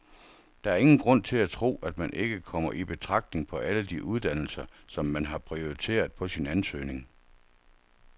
Der er ingen grund til at tro, at man ikke kommer i betragtning på alle de uddannelser, som man har prioriteret på sin ansøgning.